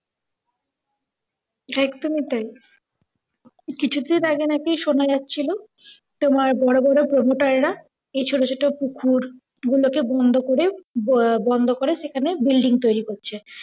একদম ই টাই। কিছুদিন আগে নাকি শোনা যাচ্ছিল তোমার বড় বড় promoter রা এই ছোট ছোট পুকুর গুলোকে বন্ধ করে ব~ বন্ধ করে সেখানে building তৈরি করছে।